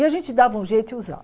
E a gente dava um jeito e usava.